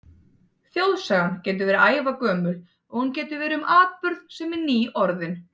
Þjóðsagan getur verið ævagömul, og hún getur verið um atburð, sem er nýorðinn.